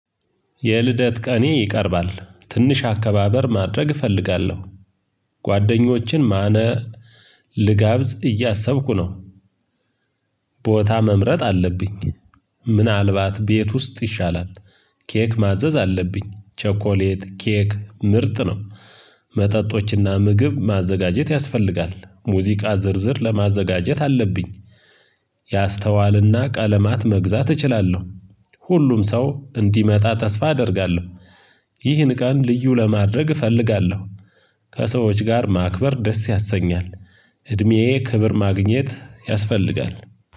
የልደት ቀኔ ይቀርባል። ትንሽ አከባበር ማድረግ እፈልጋለሁ። ጓደኞችን ማነ ልጋብዝ እያሰብኩ ነው። ቦታ መምረጥ አለብኝ። ምናልባት ቤት ውስጥ ይሻላል። ኬክ ማዘዝ አለብኝ። ቸኮሌት ኬክ ምርጥ ነው። መጠጦችና ምግብ ማዘጋጀት ያስፈልጋል። ሙዚቃ ዝርዝር ለማዘጋጀት አለብኝ። ያስተዋልና ቀለማት መግዛት እችላለሁ። ሁሉም ሰው እንዲመጣ ተስፋ አደርጋለሁ። ይህን ቀን ልዩ ለማድረግ እፈልጋለሁ። ከሰዎች ጋር ማክበር ደስ ያሰኛል። እድሜዬ ክብር ማግኘት ያስፈልጋል።